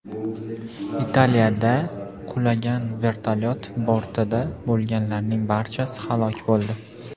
Italiyada qulagan vertolyot bortida bo‘lganlarning barchasi halok bo‘ldi.